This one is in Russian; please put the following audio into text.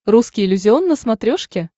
русский иллюзион на смотрешке